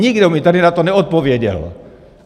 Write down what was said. Nikdo mi tady na to neodpověděl!